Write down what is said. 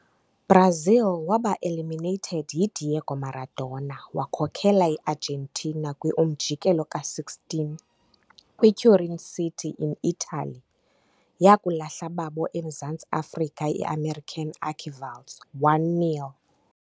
Brazil waba eliminated yi - Diego Maradona-wakhokela Argentina kwi-umjikelo ka-16 kwi - turincity in italy, yokulahla babo emzantsi Afrika i-american archrivals 1-0.